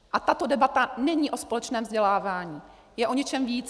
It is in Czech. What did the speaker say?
A tato debata není o společném vzdělávání, je o něčem víc.